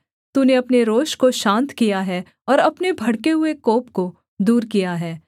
तूने अपने रोष को शान्त किया है और अपने भड़के हुए कोप को दूर किया है